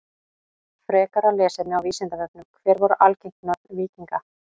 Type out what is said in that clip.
Frekara lesefni á Vísindavefnum: Hver voru algeng nöfn víkinga?